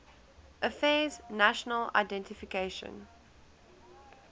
affairs national identification